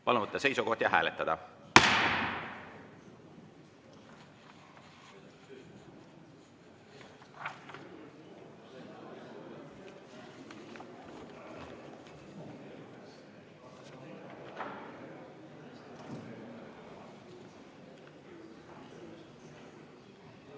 Palun võtta seisukoht ja hääletada!